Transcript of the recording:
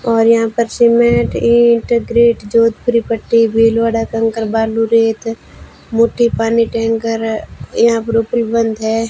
और यहां पर सीमेंट ईंट ग्रिड जोधपुरी पट्टी भीलवाड़ा कंकर बालू रेत मोती पानी टैंकर यहां बंद है।